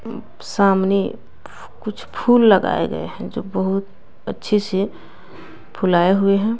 सामने कुछ फूल लगाए गए हैं जो बहुत अच्छे से फुलाए हुए हैं।